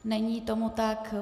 Není tomu tak.